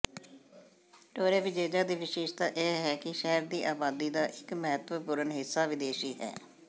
Torrevieja ਦੀ ਵਿਸ਼ੇਸ਼ਤਾ ਇਹ ਹੈ ਕਿ ਸ਼ਹਿਰ ਦੀ ਆਬਾਦੀ ਦਾ ਇਕ ਮਹੱਤਵਪੂਰਨ ਹਿੱਸਾ ਵਿਦੇਸ਼ੀ ਹੈ